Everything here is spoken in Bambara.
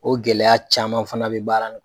O gɛlɛya caman fana bɛ